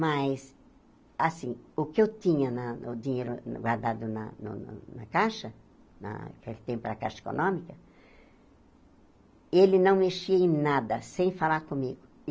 Mas, assim, o que eu tinha na, o dinheiro guardado na no na caixa, na naquele tempo era caixa econômica, ele não mexia em nada sem falar comigo.